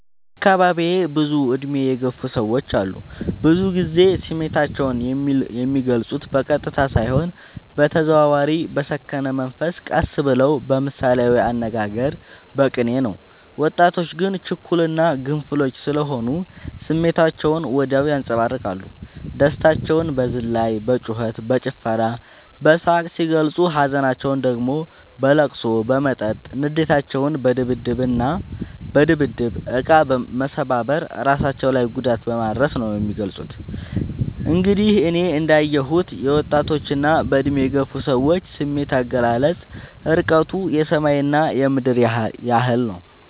በአካባቢዬ ብዙ እድሜ የገፉ ሰዎች አሉ። ብዙ ግዜ ስሜታቸው የሚልፁት በቀጥታ ሳይሆን በተዘዋዋሪ በሰከነ መንፈስ ቀስ ብለው በምሳሌያዊ አነጋገር በቅኔ ነው። ወጣቶች ግን ችኩል እና ግንፍሎች ስሆኑ ስሜታቸውን ወዲያው ያንፀባርቃሉ። ደስታቸውን በዝላይ በጩከት በጭፈራ በሳቅ ሲገልፁ ሀዘናቸውን ደግሞ በለቅሶ በመጠጥ ንዴታቸውን በድብድብ እቃ መሰባበር እራሳቸው ላይ ጉዳት በማድረስ ነው የሚገልፁት። እንግዲህ እኔ እንዳ የሁት የወጣቶች እና በእድሜ የገፉ ሰዎች ስሜት አገላለፅ እርቀቱ የሰማይ እና የምድር ያህል ነው።